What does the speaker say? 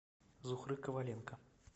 зухры коваленко